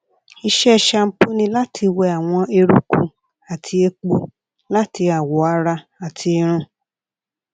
iṣẹ shampoo ni lati wẹ awọn eruku ati epo lati awọ ara ati irun